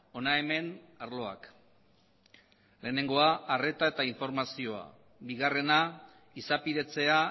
hona hemen arloak lehenengoa arreta eta informazioa bigarrena izapidetzea